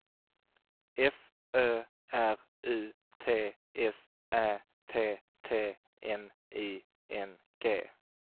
F Ö R U T S Ä T T N I N G